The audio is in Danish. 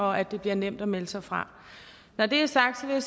og at det bliver nemt at melde sig fra når det er sagt vil